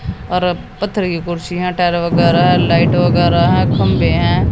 और पत्थर की कुर्सी हैं टाइल वगैरह हैं लाइट वगैरह हैं खंभे हैं।